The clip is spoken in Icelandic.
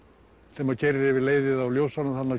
þegar maður keyrir yfir leiðið á ljósunum þarna